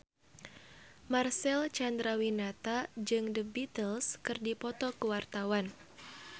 Marcel Chandrawinata jeung The Beatles keur dipoto ku wartawan